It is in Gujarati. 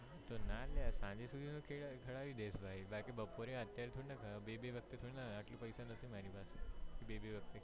તો ના અલ્યા સાંજે તો ખવડાવી દઈશ ભાઈ બપોરે અત્યારે થોડી ના બે બે વસ્તુ થોડી ના આટલું પૈસા નથી મારી પાસે બે વખત